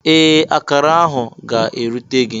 Ee! Akará ahụ ga-erute gị.